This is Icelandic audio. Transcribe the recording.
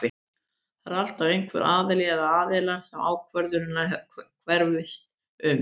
Það er alltaf einhver aðili eða aðilar sem ákvörðunin hverfist um.